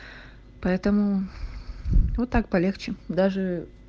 поэтому вот так полегче даже